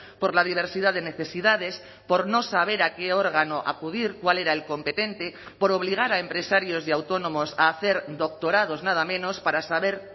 por la diversidad de necesidades por no saber a qué órgano acudir cuál era el competente por obligar a empresarios y autónomos a hacer doctorados nada menos para saber